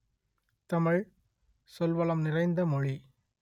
தமிழ் சொல் வளம் நிறைந்த மொழி